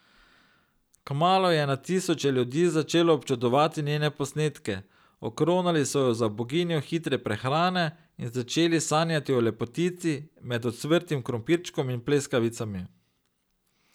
Kmalu je na tisoče ljudi začelo občudovati njene posnetke, okronali so jo za boginjo hitre prehrane in začeli sanjati o lepotici med ocvrtim krompirčkom in pleskavicami.